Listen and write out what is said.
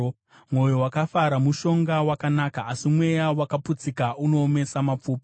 Mwoyo wakafara mushonga wakanaka, asi mweya wakaputsika unoomesa mapfupa.